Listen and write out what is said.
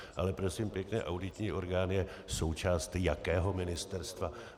Ale prosím pěkně, auditní orgán je součást jakého ministerstva?